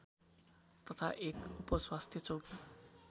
तथा एक उपस्वास्थ्य चौकी